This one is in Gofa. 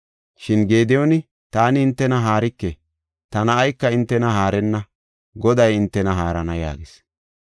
Shin Gediyooni, “Taani hintena haarike; ta na7ayka hintena haarenna; Goday hintena haarana” yaagis.